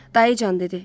Dayıcan dedi: